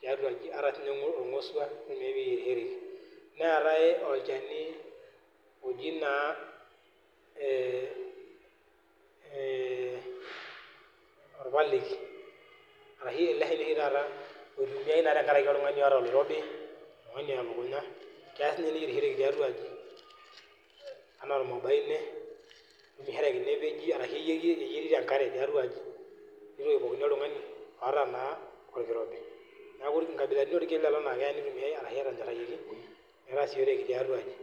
tiatua aji, ata nye orngosua kitumiai ayierishoreki, neeta olchani oji naa ee ee orpaleki arashu ele shani na oshi oitumia tenkaraki oltungani oota oloirobi , oltungani oya elukunga, kelo sinye neyierieki tiatuaji ,anaa ormabaine epeji ashu eyierieki enkare tiatua aji, ore pookin oltungani oota orkirobi neaku nkabilaitin orkiek lolo oitumiau ashu keasishoreki tiatua aji.